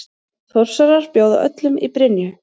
Þórsarar bjóða öllum í Brynju!